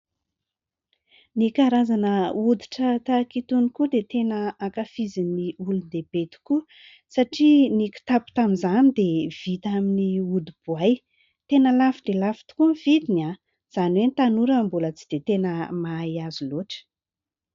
Ny karazana hoditra tahaka itony koa dia tena ankafizin'ny olon-dehibe tokoa satria ny kitapo tamin'izany dia vita amin'ny hodi-boay. Tena lafo dia lafo tokoa ny vidiny, izany hoe ny tanora no mbola tsy dia tena mahay azy loatra.